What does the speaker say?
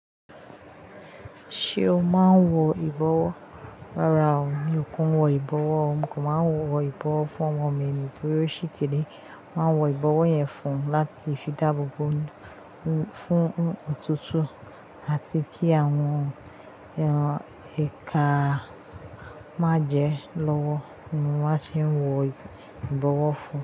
Ṣé o máa ń wọ ìbọwọ́? Rárá o, mi ò kii wọ ìbọwọ́, mo kan máa ń wọ ìbọwọ́ fún ọmọ mi nítorí ó sì kéré. Wọ́n máa ń wọ ìbọwọ́ fún láti fi dáàbò bo fún òtútù àti kí àwọn èèka má jẹ lọ́wọ́ ni wọ́n ti ń wọ ìbọwọ́ fún.